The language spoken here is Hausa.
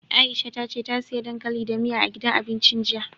Aisha ta ce ta siya dankali da miya, a gidan abincin jiya.